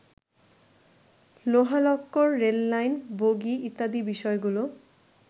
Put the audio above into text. লোহালক্কর, rail line, বগি ইত্যাদি বিষয়গুলো